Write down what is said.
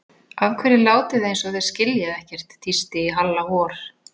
Af hverju látið þið eins og þið skiljið ekkert tísti í Halla hor.